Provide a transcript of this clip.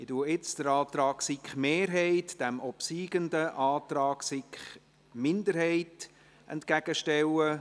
Ich stelle nun den Antrag der SiK-Mehrheit und Regierungsrat dem obsiegenden Antrag der SiK-Minderheit entgegen.